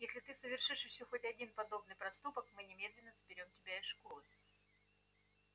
если ты совершишь ещё хоть один подобный проступок мы немедленно заберём тебя из школы